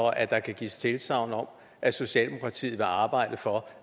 at der kan gives tilsagn om at socialdemokratiet vil arbejde for